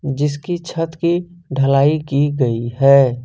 जिसकी छत की ढलाई की गई है।